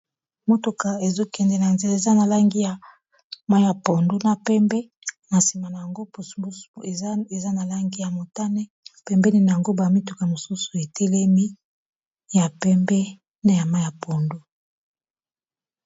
Motuka ezo kende na nzela eza na langi ya mayi ya pondu na pembe, na nsima nango pouse pouse eza na langi ya motane, pembeni nango ba mituka mosusu etelemi ya pembe na ya mayi ya pondu.